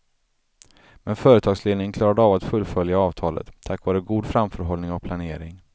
Men företagsledningen klarade av att fullfölja avtalet, tack vare god framförhållning och planering.